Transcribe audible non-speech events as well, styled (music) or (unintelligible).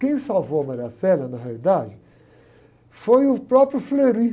Quem salvou a, (unintelligible) na realidade, foi o próprio. (unintelligible)